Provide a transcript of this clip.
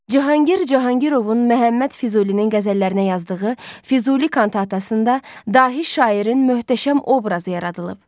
Cahangir Cahangirovun Məhəmməd Füzulinin qəzəllərinə yazdığı Füzuli kantatasında dahi şairin möhtəşəm obrazı yaradılıb.